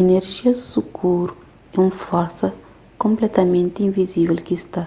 inerjia skuru é un forsa konpletamenti invizível ki sta